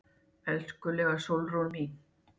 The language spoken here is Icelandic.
Elskulega Sólrún mín.